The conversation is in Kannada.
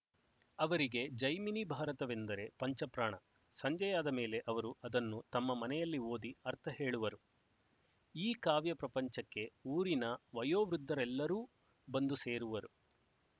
ಅವರಿಗೆ ಜೈಮಿನಿಭಾರತವೆಂದರೆ ಪಂಚಪ್ರಾಣ ಸಂಜೆಯಾದ ಮೇಲೆ ಅವರು ಅದನ್ನು ತಮ್ಮ ಮನೆಯಲ್ಲಿ ಓದಿ ಅರ್ಥ ಹೇಳುವರು ಈ ಕಾವ್ಯಪ್ರಪಂಚಕ್ಕೆ ಊರಿನ ವಯೋವೃದ್ಧರೆಲ್ಲರೂ ಬಂದು ಸೇರುವರು